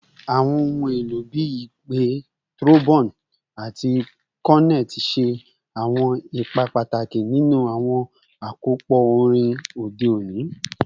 Awọn ohun elo bii ipè, trombone, ati cornet ṣe awọn ipa pataki ninu awọn akopọ orin ode oni.